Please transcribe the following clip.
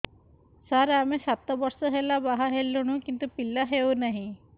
ସାର ଆମେ ସାତ ବର୍ଷ ହେଲା ବାହା ହେଲୁଣି କିନ୍ତୁ ପିଲା ହେଉନାହିଁ